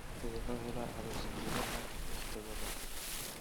sida loo helo abs gudaha lix toddobaad